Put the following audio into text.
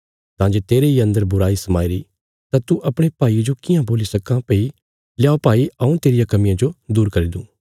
तां जे तेरे इ अन्दर बुराई समाईरी तां तू अपणे भाईये जो कियां बोल्ली सक्कां भई ल्या भाई हऊँ तेरिया कमियां जो दूर करी दूँ